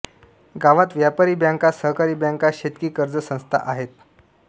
गावात व्यापारी बॅंका सहकारी बॅंका शेतकी कर्ज संस्था आहेत